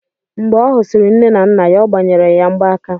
Mgbe ọ husiri nne na nna ya, ọ gbanyere ya mgbaaka